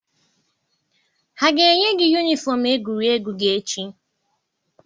Ha ga-enye gị yunifọm egwuregwu gị echi?